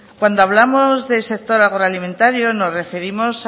cuando hablamos de sector agroalimentario nos referimos